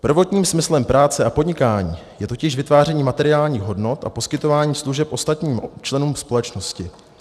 Prvním smyslem práce a podnikání je totiž vytváření materiálních hodnot a poskytování služeb ostatním členům společnosti.